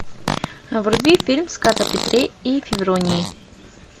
вруби фильм сказ о петре и февронии